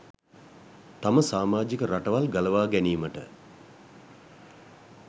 තම සාමාජික රටවල් ගලවා ගැනීමට